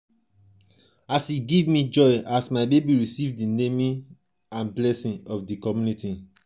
e give me joy as my baby receive di name and blessings of di community